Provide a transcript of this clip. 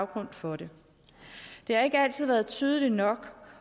grund for det det har ikke altid været tydeligt nok